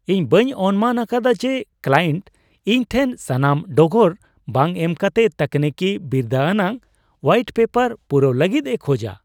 ᱤᱧ ᱵᱟᱹᱧ ᱚᱱᱢᱟᱱ ᱟᱠᱟᱫᱟ ᱡᱮ ᱠᱞᱟᱭᱮᱱᱴ ᱤᱧ ᱴᱷᱮᱱ ᱥᱟᱱᱟᱢ ᱰᱚᱜᱚᱨ ᱵᱟᱝ ᱮᱢ ᱠᱟᱛᱮ ᱛᱟᱹᱠᱱᱤᱠᱤ ᱵᱤᱨᱫᱟᱹ ᱟᱱᱟᱜ ᱦᱳᱣᱟᱭᱤᱴ ᱯᱮᱯᱟᱨ ᱯᱩᱨᱟᱹᱣ ᱞᱟᱹᱜᱤᱫ ᱮ ᱠᱷᱚᱡᱟ ᱾